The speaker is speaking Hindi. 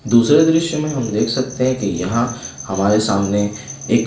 दूसरे दृश्य में हम देख सकते हैं कि यहाँ हमारे सामने एक--